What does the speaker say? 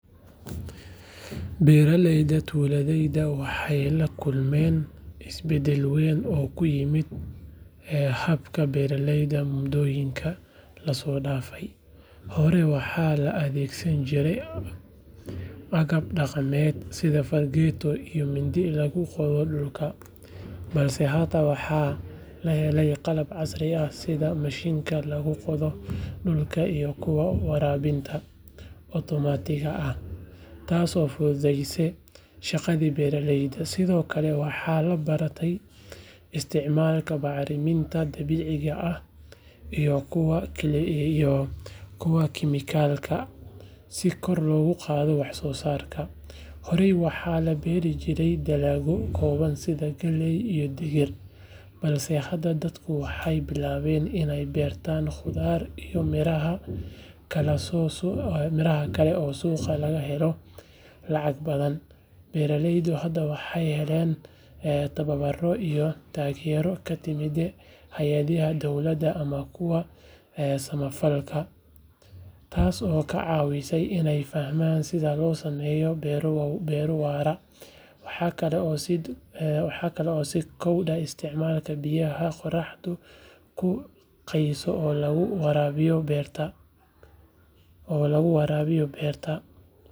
Barlayada duladayda waxay lakulman isbadal waan oo ku yimid, ahabka baralayda mudoyinka la sodafay, hore wax la adagsani jira, cagab daqamad side fargayo iyo mindi lagu qado dulka blse hada lahali qalab casriyah sii ma shinka lagu qado dulka iyo kuwa warawininta otomatika ah taas oo fududasa shaqadi baralayda sida okle wax la bara isticmalalka bacrimanta dawicika ah iyo kuwa kle chemicalka sii gor logu qado wax sosarka hore wax la barijira dalawo ku wan side galayda digir blse hada dadku waxay bilawan inay barta qudar iyo mira ah kaso so miraha kle oo suqa laga halo lacag badan baralaydu waxay adan dawiro iyo dagiro ka timid hayadajah xagadaha dowlada masah kuwa sama falka, taas oo ka cawinasoh inay fahman side lo samayo miro wa waan bairo waro waxkle oo sidar waxkle oo si isticman ku qiso lagu warawo lagu warawiyo oo lagu warawiyo barta.